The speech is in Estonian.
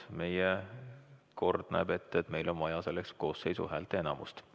Meie kord näeb ette, et meil on vaja selleks koosseisu häälteenamust.